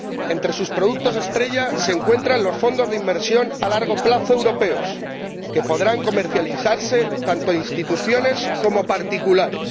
Entre sus productos estrella se encuentran los fondos de inversión a largo plazo europeos que podrán comercializar tanto instituciones como particulares.